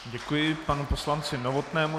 Děkuji panu poslanci Novotnému.